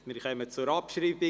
Wir kommen zur Abschreibung.